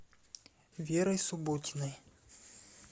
верой субботиной